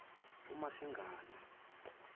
umasingana